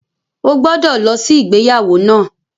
O gbọ́dọ̀ lọ sí ìgbéyàwó náà!